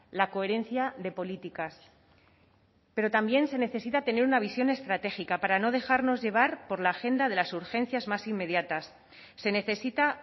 la coherencia de políticas pero también se necesita tener una visión estratégica para no dejarnos llevar por la agenda de las urgencias más inmediatas se necesita